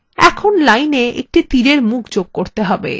এখন line এ একটি তীরের মুখ যোগ করতে হবে